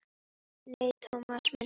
Nei, Thomas minn.